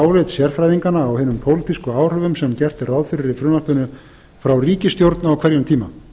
álit sérfræðinganna á hinum pólitísku áhrifum sem gert er ráð fyrir í frumvarpinu frá ríkisstjórn á hverjum tíma